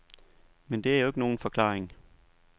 Men det er jo ikke nogen forklaring.